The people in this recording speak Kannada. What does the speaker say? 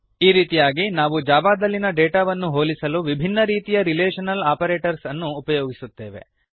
ಈ ರೀತಿಯಾಗಿ ನಾವು ಜಾವಾದಲ್ಲಿನ ಡಾಟಾವನ್ನು ಹೋಲಿಸಿಲು ವಿಭಿನ್ನ ರೀತಿಯ ರಿಲೇಷನಲ್ ಆಪರೇಟರ್ಸನ್ನು ಉಪಯೋಗಿಸುತ್ತೇವೆ